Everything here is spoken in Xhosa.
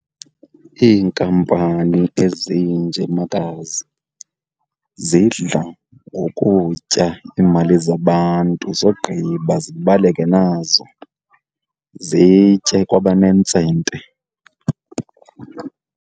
Iinkampani ezinje, makazi, zidla ngokutya iimali zabantu zogqiba zibaleke nazo zitye kwabanentsente.